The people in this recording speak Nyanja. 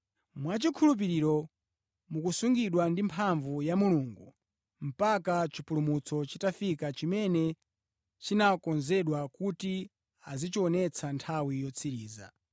Mwachikhulupiriro, mukusungidwa ndi mphamvu ya Mulungu mpaka chipulumutso chitafika chimene chinakonzedwa kuti adzachionetse nthawi yotsiriza.